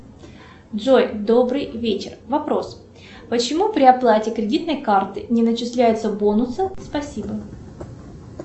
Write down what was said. джой добрый вечер вопрос почему при оплате кредитной картой не начисляются бонусы спасибо